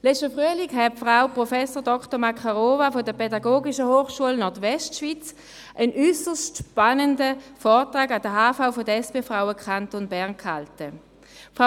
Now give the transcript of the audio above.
Im letzten Frühling hielt Frau Prof. Dr. Makarova von der Fachhochschule Nordwestschweiz (FHNW) an der Hauptversammlung der SP-Frauen Kanton Bern einen äusserst spannenden Vortrag.